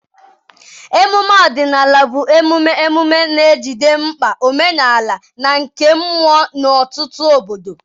emume ọdịnala bụ emume emume na-ejide mkpa omenala na nke mmụọ n'ọtụtụ obodo.